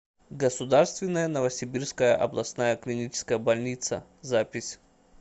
государственная новосибирская областная клиническая больница запись